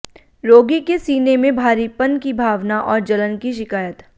रोगी के सीने में भारीपन की भावना और जलन की शिकायत